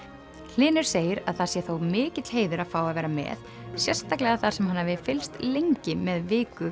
hlynur segir að það sé þó mikill heiður að fá að vera með sérstaklega þar sem hann hafi fylgst lengi með viku